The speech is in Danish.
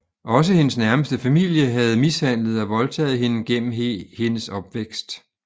Også hendes nærmeste familie havde mishandlet og voldtaget hende gennem hendes opvækst